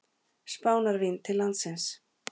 Spánarvín til landsins.